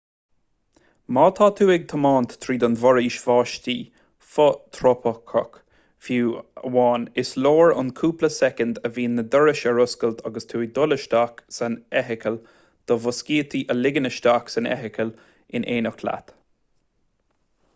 má tá tú ag tiomáint tríd an bhforaois bháistí fhothrópaiceach fiú amháin is leor an cúpla soicind a bhíonn na dorais ar oscailt agus tú ag dul isteach san fheithicil do mhuiscítí a ligean isteach san fheithicil in éineacht leat